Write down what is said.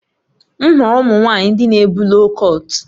M hụrụ ụmụ nwanyị ndị na ebu loo kọt